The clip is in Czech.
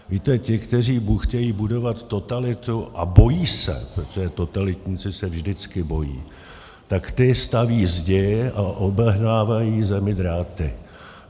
Víte, ti, kteří chtějí budovat totalitu a bojí se, protože totalitníci se vždycky bojí, tak ti staví zdi a obehnávají zemi dráty.